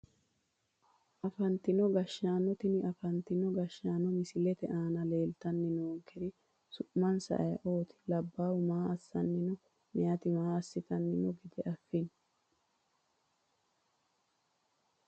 Afantino gashaano tini afantino gashaano misilete aana leeltani noonkeri su`minsa ayiooti labaahu maa asani no meyaati maa asitani noo gede afini?